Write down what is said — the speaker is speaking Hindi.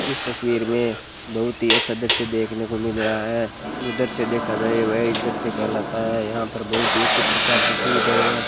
इस तस्वीर में बहुत ही अच्छा दृश्य देखने को मिल रहा है जो दृश्य देखा जाए वही दृश्य कहलाता है यहां पर बहुत ही अच्छी प्रकार से सुविधाएं हैं।